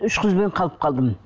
үш қызбен қалып қалдым